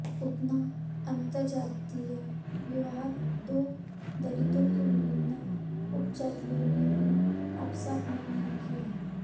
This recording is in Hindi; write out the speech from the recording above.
उतना अन्तर्जातीय विवाह तो दलितों की विभिन्न उपजातियों ने भी आपस में नहीं किया